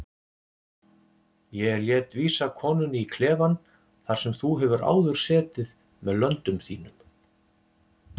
Ég lét vísa konunni í klefann þar sem þú hefur áður setið með löndum þínum.